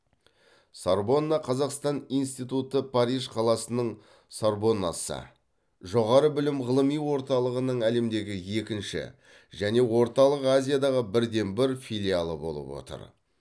сорбонна қазақстан институты париж қаласының сорбоннасы жоғары білім ғылыми орталығының әлемдегі екінші және орталық азиядағы бірден бір филиалы болып отыр